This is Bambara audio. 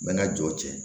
Mɛna jɔ cɛ